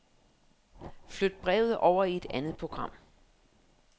Flyt brevet over i et andet program.